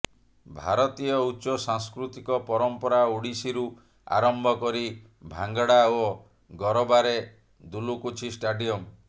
ଭାରତୀୟ ଉଚ୍ଚ ସାଂସ୍କୃତିକ ପରମ୍ପରା ଓଡିଶୀରୁ ଆରମ୍ଭ କରି ଭାଙ୍ଗଡା ଓ ଗରବାରେ ଦୁଲୁକୁଛି ଷ୍ଟାଡିୟମ